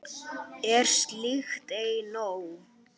Er slíkt ei nóg?